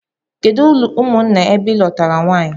Kedu umụnna ebe ilụtara nwunye gi?